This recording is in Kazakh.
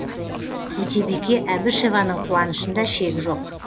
өтебике әбішеваның қуанышында шек жоқ